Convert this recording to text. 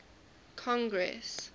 congress